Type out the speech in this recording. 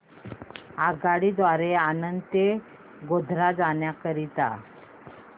आगगाडी द्वारे आणंद ते गोध्रा जाण्या करीता